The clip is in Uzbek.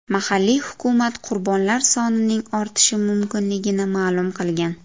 Mahalliy hukumat qurbonlar sonining ortishi mumkinligini ma’lum qilgan.